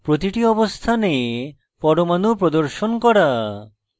3 প্রতিটি অবস্থানে পরমাণু প্রদর্শন করা